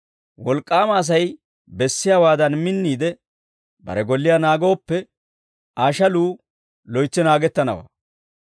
«Wolk'k'aama Asay bessiyaawaadan minniide bare golliyaa naagooppe, Aa shaluu loytsi naagettanawaa.